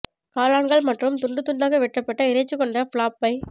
காளான்கள் மற்றும் துண்டு துண்தாக வெட்டப்பட்ட இறைச்சி கொண்டு ஃப்ளாப் பை